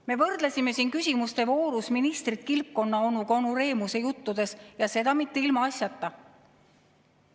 Me võrdlesime siin küsimustevoorus ministrit kilpkonnaonuga "Onu Remuse juttudest" ja seda mitte ilmaasjata.